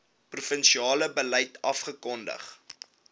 provinsiale beleid afgekondig